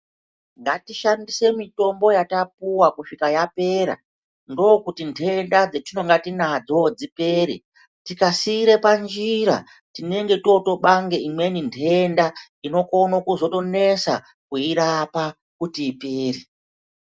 Ngatishandise mitombo yatapuwa kusvika yapera ndokuti nhtenda dzatinonge tinadzo dzipere tikasiira panjira tinenge totobange imweni nhtenda inokona kuzotonesa kuirapa kuti ipere.